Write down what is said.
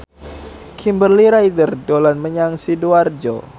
Kimberly Ryder dolan menyang Sidoarjo